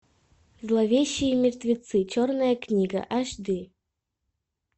зловещие мертвецы черная книга аш ди